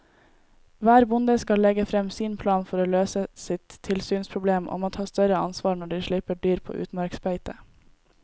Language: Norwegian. Hver bonde skal legge frem sin plan for å løse sitt tilsynsproblem og må ta større ansvar når de slipper dyr på utmarksbeite.